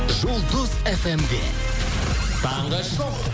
жұлдыз фмде таңғы шоу